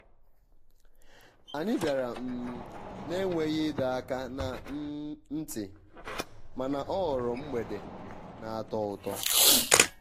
ha bịara um na-enweghị ịdọ aka na um ntị mana ọ ghọrọ mgbede na-atọ ụtọ.